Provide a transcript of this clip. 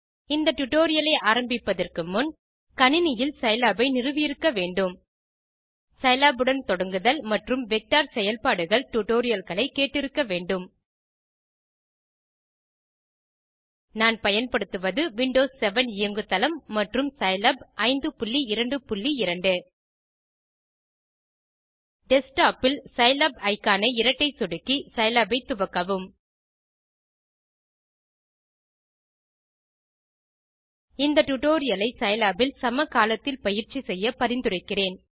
இந்த டியூட்டோரியல் ஐ ஆரம்பிப்பதற்கு முன் கணினியில் சிலாப் ஐ நிறுவியிருக்க வேண்டும் சிலாப் உடன் தொடங்குதல் மற்றும் வெக்டர் செயல்பாடுகள் டியூட்டோரியல் களை கேட்டு இருக்க வேண்டும் நான் பயன்படுத்துவது விண்டோஸ் 7 இயங்கு தளம் மற்றும் சிலாப் 522 டெஸ்க்டாப் இல் சிலாப் இக்கான் ஐ இரட்டை சொடுக்கி சிலாப் ஐ துவக்கவும் இந்த டியூட்டோரியல் ஐ சிலாப் இல் சமகாலத்தில் பயிற்சி செய்ய பரிந்துரைக்கிறேன்